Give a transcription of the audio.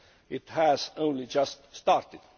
It has only just started.